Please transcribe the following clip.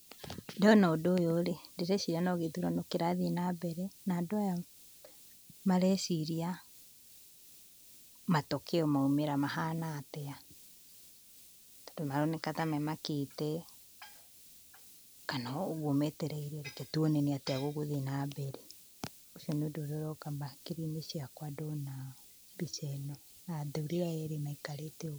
Ndona ũndũ ũyũ rĩ, ndĩreciria no gĩthurano kĩrathiĩ na mbere, na andũ aya mareciria matokeo maumĩra mahana atĩa. Tondũ maroneka temamakĩte, kana o ũguo metereire. Reke twone nĩ atĩa gũgũthiĩ na mbere, ũcio nĩ ũndũ ũrĩa ũroka hakiri-inĩ ciakwa ndona mbica ĩno ya athuuri aya erĩ maikarĩta ũũ.